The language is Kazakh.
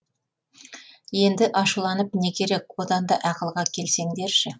енді ашуланып не керек одан да ақылға келсеңдерші